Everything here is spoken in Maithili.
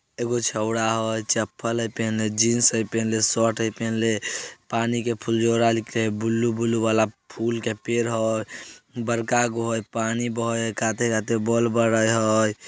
छाऊ एको छाबड़ा हो चपले पहने जींस जेह पहन ले स्वटर यह पहन ले पानी के फुल्जोरा निकले बुलु - बुलु बाला फुल के पेड़ हो बराका घोहै पानी बोह खाते खाते बल बरे --